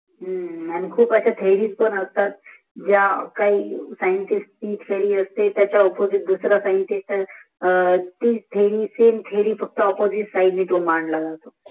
खूप सार्या थेरी पण असतात ज्या काही सायीतीत्स्नीयाच्या अपोसित केल्या असतात